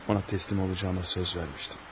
Ona təslim olacağıma söz vermişdim.